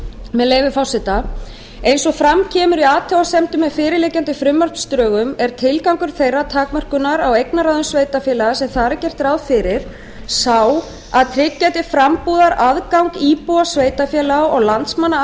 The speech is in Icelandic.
með leyfi forseta eins og fram kemur í athugasemd með fyrirliggjandi frumvarpsdrögum er tilgangur þeirrar takmörkunar á eignarráðum sveitarfélaga sem þar er gert ráð fyrir sá að tryggja til frambúðar aðgang íbúa sveitarfélaga og landsmanna